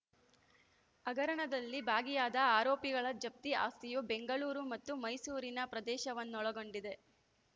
ಹಗರಣದಲ್ಲಿ ಭಾಗಿಯಾದ ಆರೋಪಿಗಳ ಜಪ್ತಿ ಆಸ್ತಿಯು ಬೆಂಗಳೂರು ಮತ್ತು ಮೈಸೂರಿನ ಪ್ರದೇಶವನ್ನೊಳಗೊಂಡಿದೆ